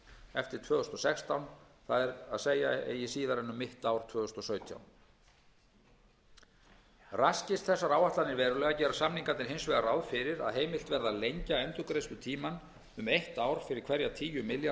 eftir tvö þúsund og sextán það er eigi síðar en um mitt ár tvö þúsund og sautján raskist þessar áætlanir verulega gera samningarnir hins vegar ráð fyrir að heimilt verði að lengja endurgreiðslutímann um eitt ár fyrir hverja tíu milljarða